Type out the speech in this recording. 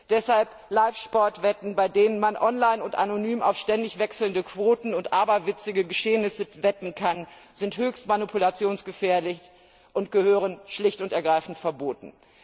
Deshalb sind Live Sportwetten, bei denen man online und anonym auf ständig wechselnde Quoten und aberwitzige Geschehnisse wetten kann, höchst manipulationsgefährdet und gehören schlicht und ergreifend verboten.